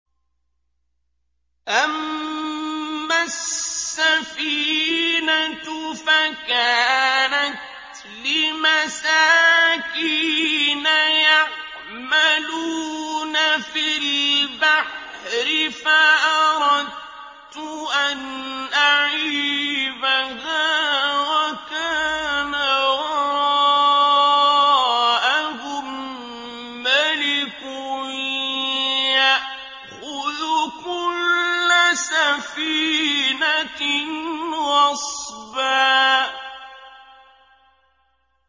أَمَّا السَّفِينَةُ فَكَانَتْ لِمَسَاكِينَ يَعْمَلُونَ فِي الْبَحْرِ فَأَرَدتُّ أَنْ أَعِيبَهَا وَكَانَ وَرَاءَهُم مَّلِكٌ يَأْخُذُ كُلَّ سَفِينَةٍ غَصْبًا